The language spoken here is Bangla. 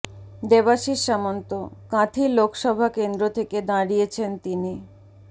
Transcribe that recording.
দেবাশিস সামন্ত কাঁথি লোকসভা কেন্দ্র থেকে দাঁড়িয়েছেন তিনি